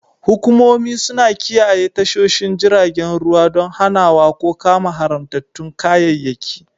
Hukumomi suna kiyaye tashoshin jiragen ruwa don hanawa ko kama haramtattun kayayyaki.